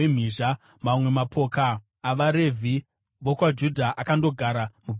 Mamwe mapoka avaRevhi vokwaJudha akandogara muBhenjamini.